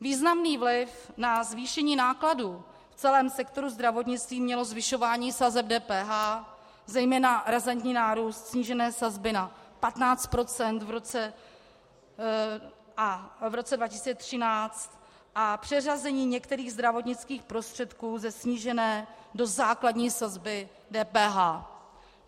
Významný vliv na zvýšení nákladů v celém sektoru zdravotnictví mělo zvyšování sazeb DPH, zejména razantní nárůst snížené sazby na 15 % v roce 2013 a přeřazení některých zdravotnických prostředků ze snížené do základní sazby DPH.